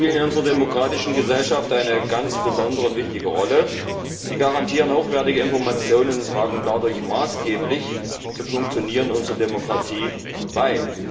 Medien spielen in unserer demokratischen Gesellschaft eine ganz besondere und wichtige Rolle. Sie garantieren hochwertige Informationen und tragen dadurch maßgeblich zum Funktionieren unserer Demokratie bei.